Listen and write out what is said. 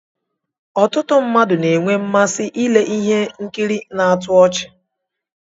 Ọtụtụ mmadụ na-enwe mmasị ile ihe nkiri na-atọ ọchi.